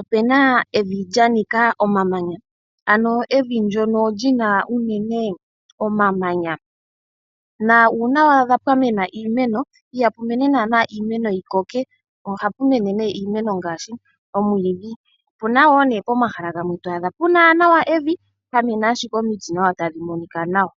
opena evi lya nika omamanya. Ano evi ndyono li na unene omamanya na uuna wa adha pwamena iimeno iha pu mene naana iimeno yi koke, ohapu mene nee iimeno ngaashi: omwiidhi. Opuna pomahala gamwe to adha pu na nawa evi, pwa mena ashike omiti tadhi monika nawa.